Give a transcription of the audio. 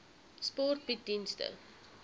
sport bied dienste